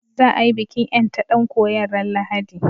Za a yi bikin ƴanta ɗan koyon ran Lahadi